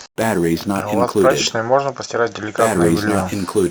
а у вас в прачечной можно постирать деликатное белье